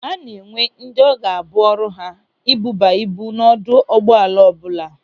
A na-enwe ndị ọ ga-abụ ọrụ ha ibuba ibu n'ọdụ ụgbọala ọbụla.